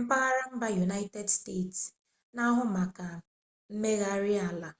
mpaghara mba yunaịted steeti na-ahụ maka mmegharị ala